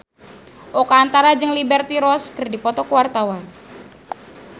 Oka Antara jeung Liberty Ross keur dipoto ku wartawan